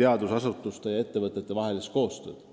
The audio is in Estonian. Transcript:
teadusasutuste ja ettevõtete vahelist koostööd.